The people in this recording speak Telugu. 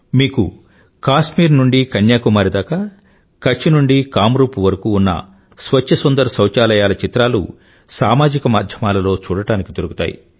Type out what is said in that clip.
మీకు కాశ్మీరు నుండి కన్యాకుమారి దాకా కచ్ నుండి కామ్రూప్ వరకూ ఉన్న స్వచ్ఛ సుందర్ సౌచాలయాల చిత్రాలు సామాజిక మాధ్యమాలలో చూడడానికి దొరుకుతాయి